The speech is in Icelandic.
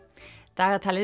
dagatalið